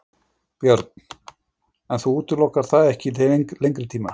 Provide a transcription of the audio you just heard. Björn: En þú útilokar það ekki til lengri tíma?